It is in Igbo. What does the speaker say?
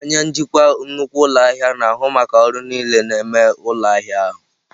Onye njikwa nnukwu ụlọ ahịa na-ahụ maka ọrụ niile na-eme ụlọ ahịa ahụ.